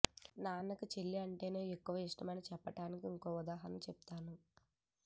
నాన్నకి చెల్లి అంటేనే ఎక్కువ ఇష్టం అని చెప్పటానికి ఇంకొక ఉదాహరణ చెప్తాను